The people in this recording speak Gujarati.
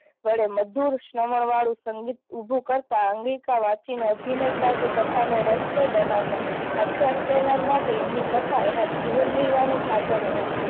વડે મધુર શ્રવણ વાળું સંગીત ઊભું કરતાં અંગિકા વાચી ને અભિનય સાથે કથા ને રસ્તો બનાવતા. આખ્યાન કહેનાર માટે એમની કથા એના જીવન નિર્વાહ નું સાધન હતું.